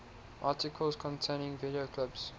articles containing video clips